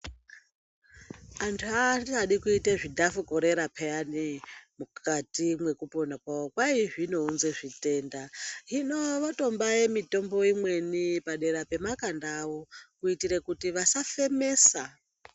Antu aachadi kuite zvidhafukorera pheyani, mukati mwekupona kwavo, kwai zvinounze zvitenda. Hino votombaye mitombo imweni padera pemakanda avo, kuitire kuti vasafemesa.